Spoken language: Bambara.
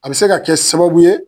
A be se ka kɛ sababu ye